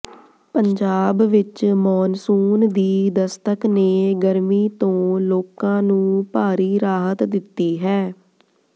ਪੰਜਾਬ ਵਿਚ ਮੌਨਸੂਨ ਦੀ ਦਸਤਕ ਨੇ ਗਰਮੀ ਤੋਂ ਲੋਕਾਂ ਨੂੰ ਭਾਰੀ ਰਾਹਤ ਦਿੱਤੀ ਹੈ